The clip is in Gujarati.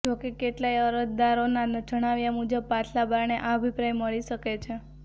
જો કે કેટલાક અરજદારો ના જણાવ્યા મુજબ પાછલા બારણે આ અભિપ્રાય મળી શકે છે